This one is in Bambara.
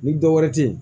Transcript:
Ni dɔ wɛrɛ te yen